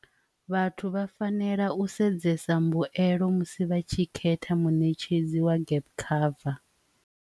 Vhathu vha fanela u sedzesa mbuelo musi vha tshi khetha munetshedzi wa gap cover.